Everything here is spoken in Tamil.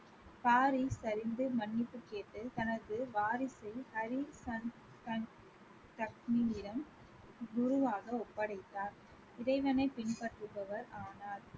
சரிந்து மன்னிப்பு கேட்டு தனது வாரிசை ஹரி குருவாக ஒப்படைத்தார் இறைவனை பின்பற்றுபவர் ஆனார்